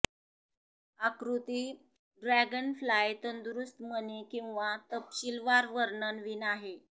आकृती ड्रॅगनफ्लाय तंदुरुस्त मणी किंवा तपशीलवार वर्णन वीण आहे